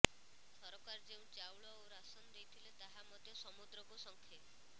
ସରକାର ଯେଉଁ ଚାଉଳ ଓ ରାସନ ଦେଇଥିଲେ ତାହା ମଧ୍ୟ ସମୁଦ୍ରକୁ ଶଙ୍ଖେ